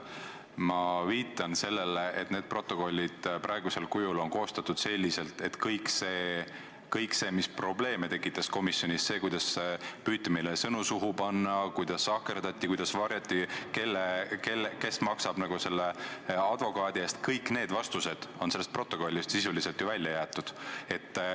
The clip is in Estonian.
Ma viitan sellele, et praegused protokollid on koostatud nii, et kõik see, mis komisjonis probleeme tekitas – see, kuidas meile püüti sõnu suhu panna, kuidas sahkerdati, kuidas varjati seda, kes maksab advokaadi eest –, kõik need vastused on protokollist sisuliselt välja jäetud.